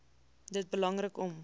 dit belangrik om